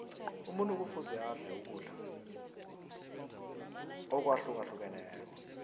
umuntu kufuze adle ukudla akwahlukahlukeneko